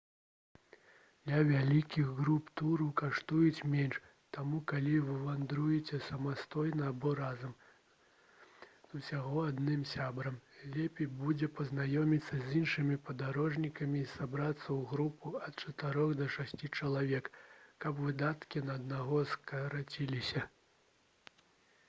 для вялікіх груп туры каштуюць менш таму калі вы вандруеце самастойна або разам з усяго адным сябрам лепей будзе пазнаёміцца з іншымі падарожнікамі і сабрацца ў групу ад чатырох да шасці чалавек каб выдаткі на аднаго скараціліся